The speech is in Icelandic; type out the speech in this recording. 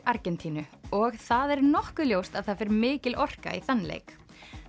Argentínu og það er nokkuð ljóst að það fer mikil orka í þann leik